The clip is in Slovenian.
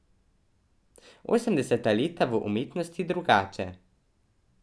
Osemdeseta leta v umetnosti drugače.